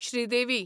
Sridevi